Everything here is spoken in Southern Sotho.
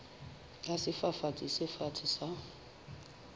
ya sefafatsi se fatshe sa